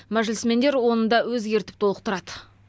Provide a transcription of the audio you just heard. мәжілісмендер оны да өзгертіп толықтырады